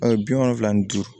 bi wolonwula ni duuru